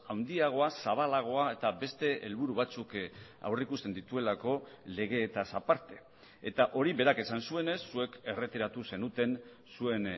handiagoa zabalagoa eta beste helburu batzuk aurrikusten dituelako legeetaz aparte eta hori berak esan zuenez zuek erretiratu zenuten zuen